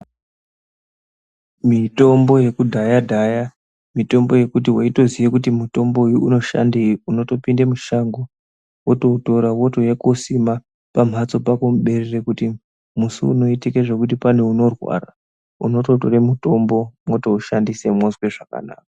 Mitombo yekudhaya-dhaya mitombo yekuti weitoziye kuti mutombo uyu unoshandei, unotopinde mushango wotoutora wotouya kuosima pamhatso pako muberere. Kuti musi unoitike zvekuti pane unorwara, unototore mutombo motoushandise mozwe zvakanaka.